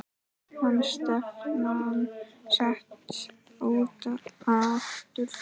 Er stefnan sett út aftur?